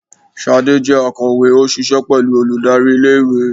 Sádé jẹ akowe, o ṣiṣẹ pẹlu olùdarí ilé ìwé